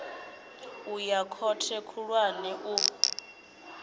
u ya khothe khulwane u